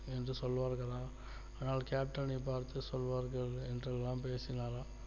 என்று சொல்வார்களாம் ஆனால் captain னைபார்த்து சொல்வார்கள் என்றெல்லாம் பேசினாராம்